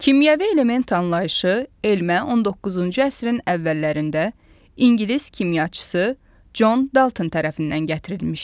Kimyəvi element anlayışı elmə 19-cu əsrin əvvəllərində ingilis kimyaçısı Con Dalton tərəfindən gətirilmişdi.